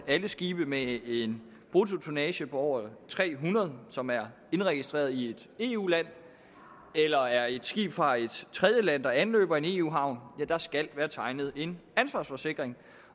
alle skibe med en bruttotonnage på over tre hundrede som er indregistreret i et eu land eller er et skib fra et tredjeland og som anløber en eu havn skal være tegnet en ansvarsforsikring